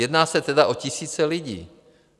Jedná se tedy o tisíce lidí.